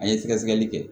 An ye sɛgɛsɛgɛli kɛ